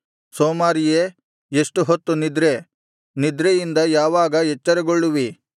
ಸೋಮಾರಿಯೇ ಎಷ್ಟು ಹೊತ್ತು ನಿದ್ರೆ ನಿದ್ರೆಯಿಂದ ಯಾವಾಗ ಎಚ್ಚರಗೊಳ್ಳುವಿ